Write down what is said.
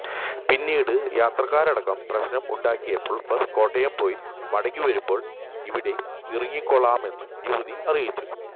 പിന്നീട് യാത്രക്കാരടക്കം പ്രശ്നം ഉണ്ടാക്കിയപ്പോൾ ബസ് കോട്ടയം പോയി മടങ്ങിവരുമ്പോൾ ഇവിടെ ഇറങ്ങിക്കൊള്ളാമെന്ന് യുവതി അറിയിച്ചു